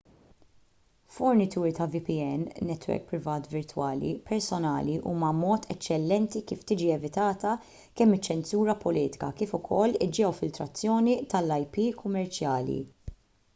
fornituri ta’ vpn netwerk privat virtwali personali huma mod eċċellenti kif tiġi evitata kemm iċ-ċensura politika kif ukoll il-ġeofiltrazzjoni tal-ip kummerċjali